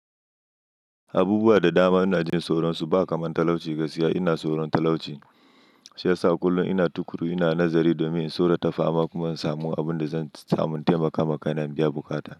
Abubuwa da dama ina jin soron su ba kamar talauci gaskiya ina tsoron talauci. Shi yasa kullum ina tukuru, ina nazari domin in so na ta fama kuma in samu abin da zan samun taimaka ma kaina in biya bukata.